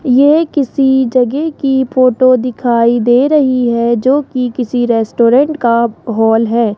यह किसी जगह की फोटो दिखाई दे रही है जो की किसी रेस्टोरेंट का हॉल है।